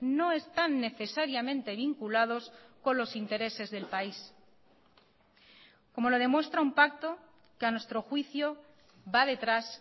no están necesariamente vinculados con los intereses del país como lo demuestra un pacto que a nuestro juicio va detrás